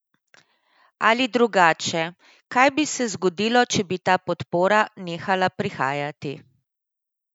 Ali drugače, kaj bi se zgodilo, če bi ta podpora nehala prihajati?